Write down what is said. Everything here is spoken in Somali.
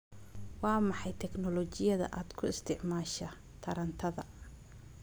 Waa maxay tignoolajiyada aad ku isticmaashaa tarantada?